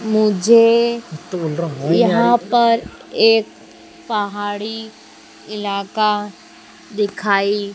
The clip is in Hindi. मुझे यहां पर एक पहाड़ी इलाका दिखाई--